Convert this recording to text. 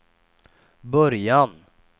början